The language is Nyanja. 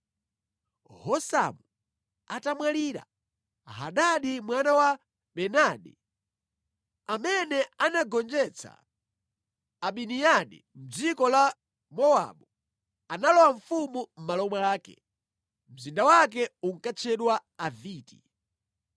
Husamu atamwalira, Hadadi mwana wa Bedadi, amene anagonjetsa Amidiyani mʼdziko la Mowabu, analowa ufumu mʼmalo mwake. Mzinda wake unkatchedwa Aviti.